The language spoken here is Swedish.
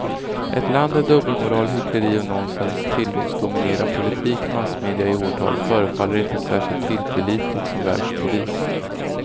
Ett land där dubbelmoral, hyckleri och nonsens tillåts dominera politik och massmedia i åratal förefaller inte särskilt tillförlitligt som världspolis.